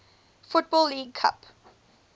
football league cup